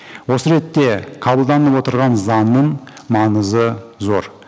осы ретте қабылданып отырған заңның маңызы зор